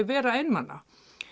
vera einmana